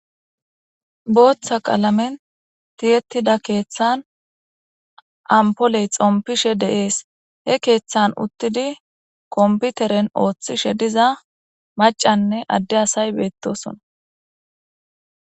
booththa qalamen tiyettida keeththan ampoley xompishe deees he keeththan uttidi komputeren ooththishe diza macanne adde asay beettosona